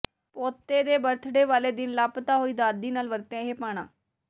ਪੋਤੇ ਦੇ ਬਰਥਡੇ ਵਾਲੇ ਦਿਨ ਲਾਪਤਾ ਹੋਈ ਦਾਦੀ ਨਾਲ ਵਰਤਿਆ ਇਹ ਭਾਣਾ